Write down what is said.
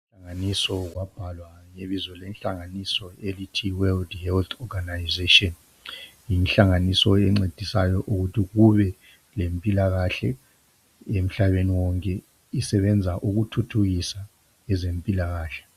Inhlanganiso kwabhalwa lebizo lenhlanganiso elithi World Health Organization yinhlanganiso encedisayo ukuthi kube lempilakahle emhlabeni wonke isebenza ukuthuthukisa ezempilakahle